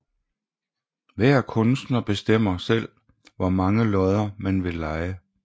Hver kunstner bestemmer selv hvor mange lodder man vil leje